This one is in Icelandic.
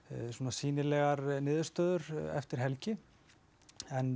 sýnilegar niðurstöður eftir helgi en